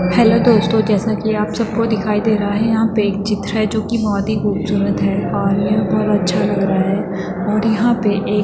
Hello दोस्तों जैसा की आप सब को दिखाई दे रहा है यहाँ पे एक चित्र है जो कि बोहोत ही ख़ूबसूरत है। और यह बहोत अच्छा लग रहा है। और यहां पे एक --